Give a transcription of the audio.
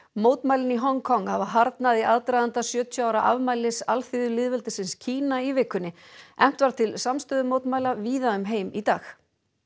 mótmælin í Hong Kong hafa harðnað í aðdraganda sjötíu ára afmælis alþýðulýðveldisins Kína í vikunni efnt var til samstöðu mótmæla víða um heim í dag